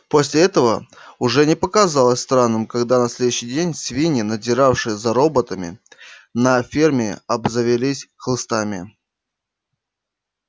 после этого уже не показалось странным когда на следующий день свиньи надзиравшие за работами на ферме обзавелись хлыстами